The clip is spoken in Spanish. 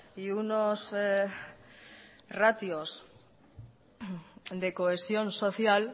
y unos ratios de cohesión social